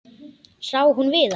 Sá hún Viðar?